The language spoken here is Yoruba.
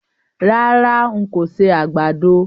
Rárá, n kò ṣe àgbàdo.